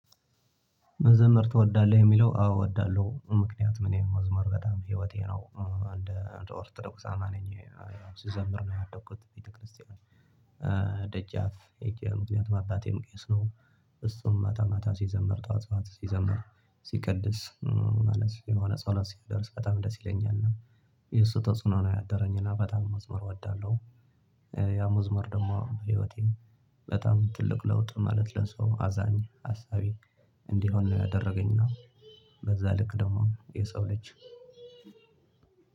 መዘመር ትወዳለህ የሚለው፣ አዎ ወዳለሁ። ምክንያቱም እኔ መዝሙር በጣም ህይወቴ ነው። እ እንደ አንድ ኦርቶዶክስ አማኝ ነኝ። ስዘምር ነው ያደጉት ቤተክርስቲያን። እ ደጃፍ ሄጄ ምክንያቱም አባቴም ቄስ ነው። እሱም ማታ ማታ ሲዘምር ጧት ጧት ሲዘምር ሲቀድስ ማለት የሆነ ጸሎት ሲደርስ በጣም ደስ ይለኛልና። የሱ ተጽዕኖ ነው ያደረኝና በጣም መዝሙር ወዳለሁ። ያ መዝሙር ደሞ ህይወቴን በጣም ትልቅ ለውጥ ማለት ለሰው አዛኝ፣ አሳቢ፣ እንዲሆን ነው ያደረገኝና በዛ ልክ ደግሞ የሰው ልጅ